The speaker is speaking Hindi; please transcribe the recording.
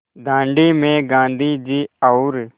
दाँडी में गाँधी जी और